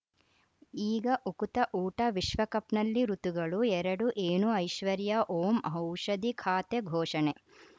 ಈಗ ಉಕುತ ಊಟ ವಿಶ್ವಕಪ್‌ನಲ್ಲಿ ಋತುಗಳು ಎರಡು ಏನು ಐಶ್ವರ್ಯಾ ಓಂ ಔಷಧಿ ಖಾತೆ ಘೋಷಣೆ